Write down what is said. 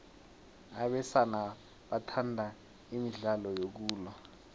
abesana bathanda imidlalo yokulwa